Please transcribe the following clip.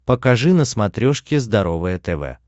покажи на смотрешке здоровое тв